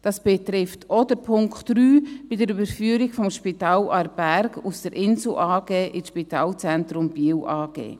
Das betrifft auch den Punkt 3 bezüglich der Überführung des Spitals Aarberg aus der Insel Gruppe AG in die Spitalzentrum Biel AG.